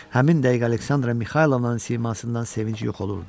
Həmin dəqiqə Aleksandra Mixaylovnanın simasından sevinc yox olurdu.